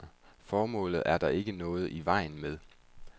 Formålet er der ikke noget i vejen med.